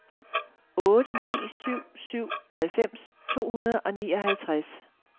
otte ni syv syv halvfems to hundrede og nioghalvtreds